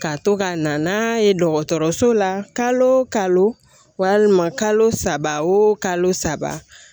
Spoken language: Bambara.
Ka to ka na n'a ye dɔgɔtɔrɔso la kalo o kalo walima kalo saba o kalo saba